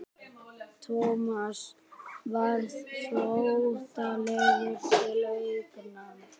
Thomas varð flóttalegur til augnanna.